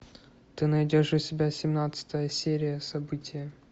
ты найдешь у себя семнадцатая серия событие